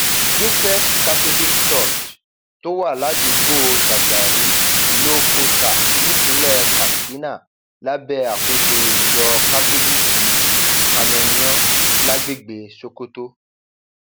josephs catholic church tó wà ládùúgbò shagari lowcosta nípínlẹ katsina lábẹ àkóso ìjọ kátólíìkì kámẹńyàn lágbègbè sokoto